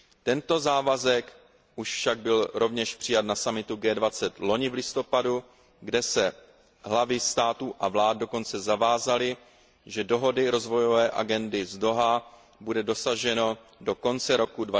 Tento závazek už však byl rovněž přijat na summitu G20 loni v listopadu, kde se hlavy států a vlád dokonce zavázaly, že dohody Rozvojové agendy z Dauhá bude dosaženo do konce roku